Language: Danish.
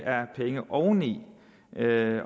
er penge oveni